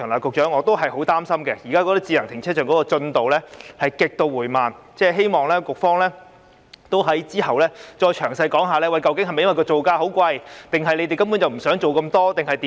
局長，我仍然很擔心，現時智能停車場的發展進度極度緩慢，希望局方稍後會詳細解釋，究竟是否因為造價昂貴，還是局方根本不想做那麼多工作？